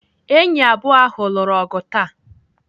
Enyi abụọ ahụ lụrụ ọgụ taa.